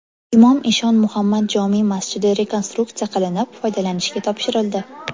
Imom Eshon Muhammad jome masjidi rekonstruksiya qilinib, foydalanishga topshirildi.